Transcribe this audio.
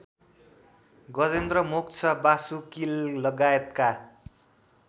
Gajendra Moksha वासुकीलगायतका